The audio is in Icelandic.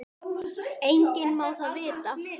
Enginn má það vita.